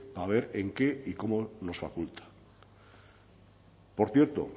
a ver en qué y cómo nos faculta por cierto